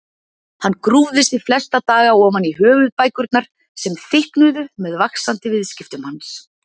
Hann grúfði sig flesta daga ofan í höfuðbækurnar sem þykknuðu með vaxandi viðskiptum hans.